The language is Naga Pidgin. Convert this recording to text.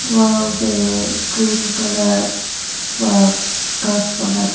wall tae green colour pa ghas bana dikhi--